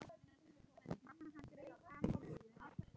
Mamma hans greip fram í fyrir henni.